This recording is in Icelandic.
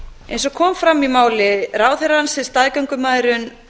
eins og kom fram í máli ráðherrans er staðgöngumæðrun